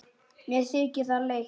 Mér þykir það leitt.